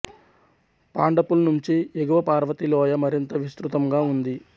పాండుపుల్ నుంచి ఎగువ పార్వతి లోయ మరింత విస్తృతంగా ఉంది